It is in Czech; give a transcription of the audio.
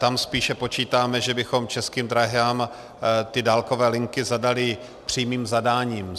Tam spíše počítáme, že bychom Českým dráhám ty dálkové linky zadali přímým zadáním.